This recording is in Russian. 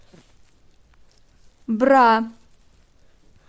бра